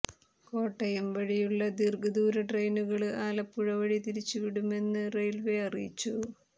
കോട്ടയം വഴിയുള്ള ദീര്ഘദൂര ട്രെയിനുകള് ആലപ്പുഴ വഴി തിരിച്ചുവിടുമെന്ന് റെയില്വേ അറിയിച്ചു